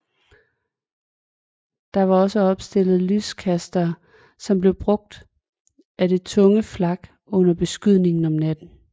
Der var også opstillet lyskastere som blev brugt af det tunge flak under beskydning om natten